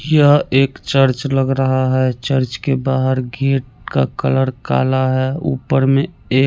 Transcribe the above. यह एक चर्च लग रहा है चर्च के बहार गेट का कलर काला है ऊपर में ए--